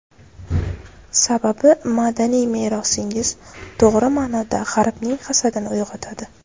Sababi, madaniy merosingiz, to‘g‘ri ma’noda, G‘arbning hasadini uyg‘otadi.